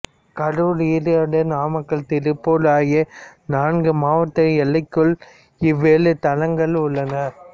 கரூர் ஈரோடு நாமக்கல் திருப்பூர் ஆகிய நான்கு மாவட்ட எல்லைகளுக்குள் இவ்வேழு தலங்களும் உள்ளன